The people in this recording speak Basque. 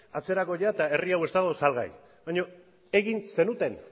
atzerako ia eta herri hau ez dago salgai baina egin zenuten